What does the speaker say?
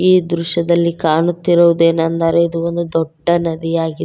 ಈ ದೃಶ್ಯದಲ್ಲಿ ಕಾಣುತ್ತಿರುವುದೆನಂದರೆ ಇದು ಒಂದು ದೊಡ್ಡ ನದಿ ಆಗಿದೆ.